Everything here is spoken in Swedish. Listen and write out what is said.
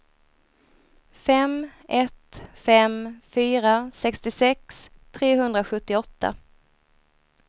fem ett fem fyra sextiosex trehundrasjuttioåtta